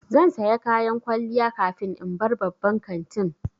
Zan saya kayan kwalliya kafin in bar babban kantin